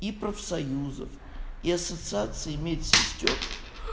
и профсоюзов и ассоциации медсестёр